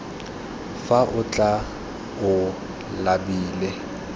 fa o tla o labile